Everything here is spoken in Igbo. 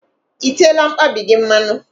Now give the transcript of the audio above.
I teela mkpabi gị mmanụ?